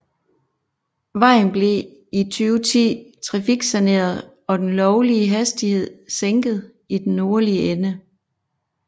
Vejen blev i 2010 trafiksaneret og den lovlige hastighed sænket i den nordlige ende